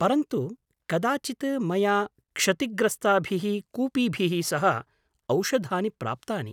परन्तु कदाचित् मया क्षतिग्रस्ताभिः कूपीभिः सह औषधानि प्राप्तानि।